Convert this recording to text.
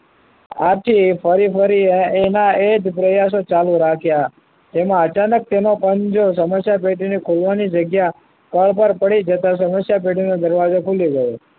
આથી ફરી ફરી એના એ જ પ્રયાસો ચાલુ રાખ્યા તેમાં અચાનક તેનો પંજો સમસ્યા પેટીના ખોલવાની જગ્યા સ્થળ પર પડી જતા સમસ્યા પેટીનો દરવાજો ખુલી ગયો